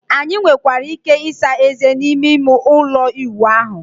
anyị nwekwara ike ịsa ezé n'ime ime ụlọ ịwụ ahụ